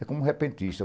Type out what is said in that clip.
É como o repentista.